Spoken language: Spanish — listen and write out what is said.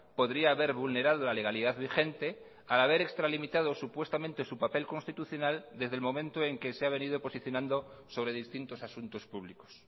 podría haber vulnerado la legalidad vigente al haber extralimitado supuestamente su papel constitucional desde el momento en que se ha venido posicionando sobre distintos asuntos públicos